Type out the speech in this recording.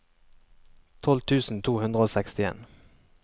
tolv tusen to hundre og sekstien